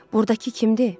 "Burdakı kimdir?